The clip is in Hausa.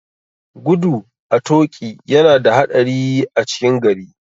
Gudu a toƙi yana da haɗari a cikin gari.